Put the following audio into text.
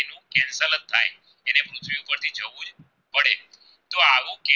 જો આવું કે